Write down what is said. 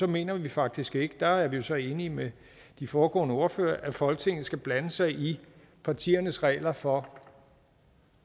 mener vi faktisk ikke og der er vi jo så enige med de foregående ordførere at folketinget skal blande sig i partiernes regler for